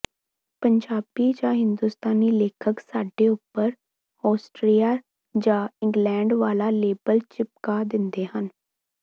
ਪੰਜਾਬੀ ਜਾਂ ਹਿੰਦੁਸਤਾਨੀ ਲੇਖਕ ਸਾਡੇ ਉੱਪਰ ਆਸਟਰੀਆ ਜਾਂ ਇੰਗਲੈਂਡ ਵਾਲਾ ਲੇਬਲ ਚਿਪਕਾ ਦਿੰਦੇ ਹਨ